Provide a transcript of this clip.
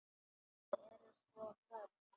Þau eru svo mörg.